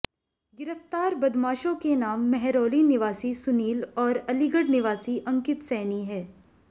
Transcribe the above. गिरफ्तार बदमाशों के नाम महरौली निवासी सुनील और अलीगढ़ निवासी अंकित सैनी हैं